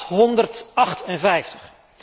858